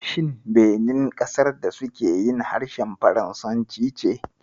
Shin Benin ƙasar da suke harshen faransanci ce?